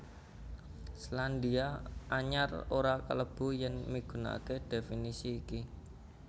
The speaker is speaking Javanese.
Selandia Anyar ora klebu yèn migunakaké dhéfinisi iki